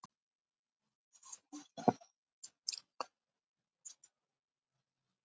Þeir höfðu einungis komið sér saman um að hittast á þessum matsölustað klukkan hálfsjö.